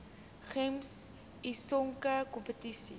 gems sisonke kompetisie